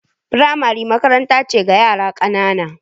Firamare makaranta ce ga yara ƙanana.